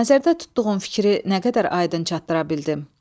Nəzərdə tutduğun fikri nə qədər aydın çatdıra bildin.